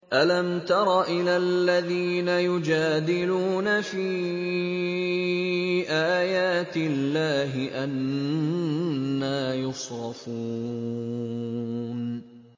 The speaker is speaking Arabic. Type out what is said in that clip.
أَلَمْ تَرَ إِلَى الَّذِينَ يُجَادِلُونَ فِي آيَاتِ اللَّهِ أَنَّىٰ يُصْرَفُونَ